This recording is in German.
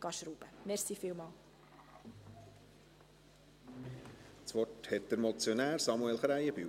Das Wort hat der Motionär, Samuel Krähenbühl.